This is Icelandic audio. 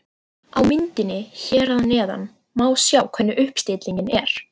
Á myndinni hér að neðan má sjá hvernig uppstillingin er.